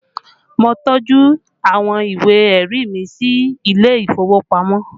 Mo tọ́jú àwọn ìwé ẹ̀rí mi sílé ìfowópamọ́